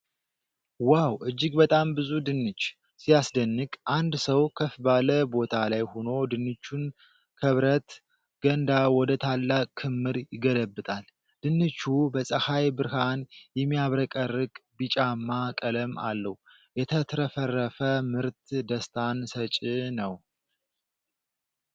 ዋው! እጅግ በጣም ብዙ ድንች ሲያስደንቅ! አንድ ሰው ከፍ ባለ ቦታ ላይ ሆኖ ድንቹን ከብረት ገንዳ ወደ ታላቅ ክምር ይገለብጣል። ድንቹ በፀሐይ ብርሃን የሚያብረቀርቅ ቢጫማ ቀለም አለው። የተትረፈረፈ ምርት ደስታን ሰጭ ነው!።